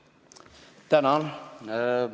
Tänan!